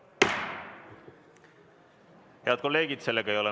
Head kolleegid!